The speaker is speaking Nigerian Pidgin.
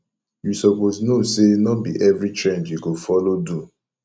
you suppose know say no be every trend you go follow do